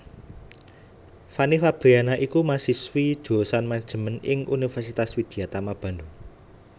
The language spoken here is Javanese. Fanny Fabriana iku mahasiswi jurusan Manajemen ing Universitas Widyatama Bandung